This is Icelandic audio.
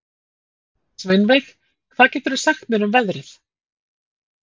Sveinveig, hvað geturðu sagt mér um veðrið?